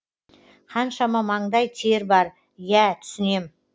қаншама маңдай тер бар иә түсінем